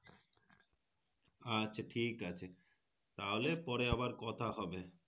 আচ্ছা ঠিক আছে তাহলে পরে আবার কথা হবে